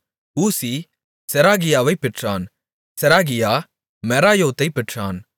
ஊசி செராகியாவைப் பெற்றான் செராகியா மெராயோதைப் பெற்றான்